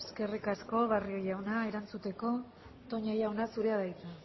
eskerrik asko barrio jauna erantzuteko toña jauna zurea da hitza